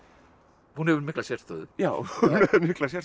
hún hefur mikla sérstöðu já hún hefur mikla sérstöðu